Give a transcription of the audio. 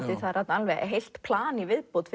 það er þarna heilt plan í viðbót